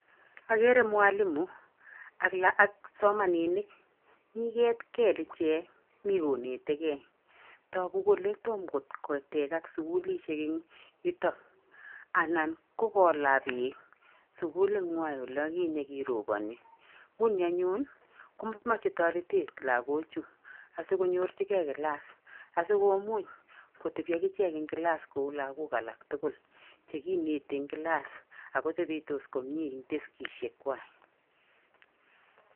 Ogere mwalimu ak la ak kipsomaninik mi ket kel ichek mi konetekei togu kele tom kotekak sukulisiek en yutok anan ko kola beek sukulinywan inye kiroboni nguni anyun komoche torotet logochu asikonyorchikei kilas asikomuch kotebi agichek kilas kou logok alak tugul chekineti en kilas ago topotos komie en teskisiekwak.